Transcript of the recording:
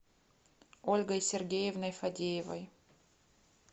ольгой сергеевной фадеевой